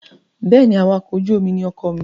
Bẹ́ẹ̀ ni, awakọ̀-ojú-omi ní ọkọ mi.